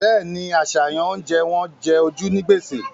Bẹ́ẹ̀ni, àṣàyàn oúnjẹ wọn jẹ ojú ní gbèsè